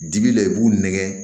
Dibi la i b'u nɛgɛn